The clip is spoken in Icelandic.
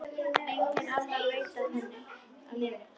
Enginn annar veit af nefinu.